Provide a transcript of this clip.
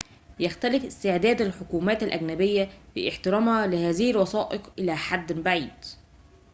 يختلف استعداد الحكومات الأجنبية في احترامها لهذه الوثائق إلى حدٍ بعيد